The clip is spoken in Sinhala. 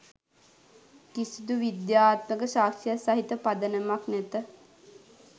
කිසිදු විද්‍යාත්මක සාක්ෂියක් සහිත පදනමක් නැත